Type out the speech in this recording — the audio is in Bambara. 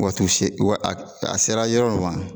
Wati seegin wa a sera yɔrɔ min ma